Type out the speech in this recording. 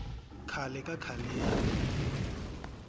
khale ka khaleni